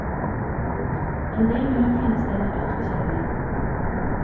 En del vil nok finne stedet altfor kjedelig.